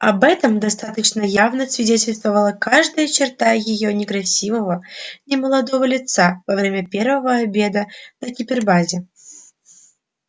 об этом достаточно явно свидетельствовала каждая черта её некрасивого немолодого лица во время первого обеда на гипербазе